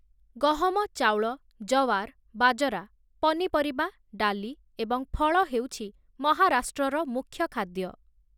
ଗହମ, ଚାଉଳ, ଜୱାର୍‌, ବାଜରା, ପନିପରିବା, ଡାଲି, ଏବଂ ଫଳ ହେଉଛି ମହାରାଷ୍ଟ୍ରର ମୁଖ୍ୟ ଖାଦ୍ୟ ।